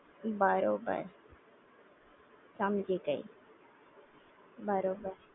બરોબર સમજી ગઈ બરોબર